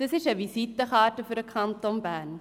Das ist eine Visitenkarte für den Kanton Bern.